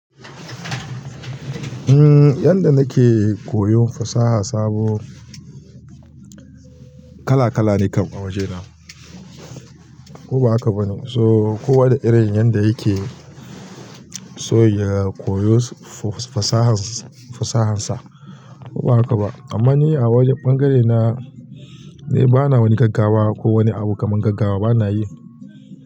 Umm, yanda nake koyon fasaha sabo kala kala ne kam a waje na. Ko ba haka ba ne? So kowa da irin yanda yake so ya koyo fasahansa, fasahansa. Ko ba haka ba? Amma ni a wajen ɓangarena, ni bana wani gaggawa ko wani abu kaman gaggawa bana yi.